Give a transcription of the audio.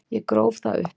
Ég gróf það upp.